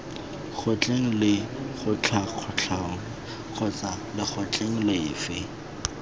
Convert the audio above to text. kgotleng lekgotlakatlholong kgotsa lekgotleng lefe